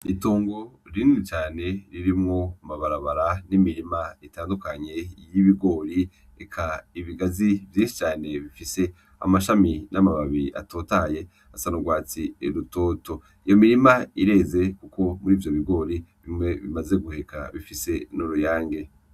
Itongo rinini cane ririmwo amabarabara n'imirima itandukanye y'ibigori eka ibigazi vyinshi cane bifise amashami afise amababi atotahaye asa n'ugwatsi rutoto iyo mirima ireze kuko muri ivyo bigori bimwe bimaze guheka bifise n'uruyange.